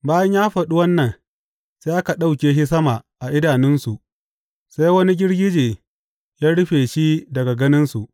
Bayan ya faɗi wannan, sai aka ɗauke shi sama a idanunsu sai wani girgije ya rufe shi daga ganinsu.